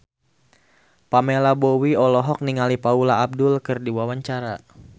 Pamela Bowie olohok ningali Paula Abdul keur diwawancara